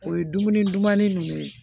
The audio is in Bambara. O ye dumuni dumanni ninnu ye